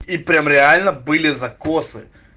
и прям реально были закосы